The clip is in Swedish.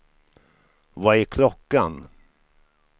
Vad är klockan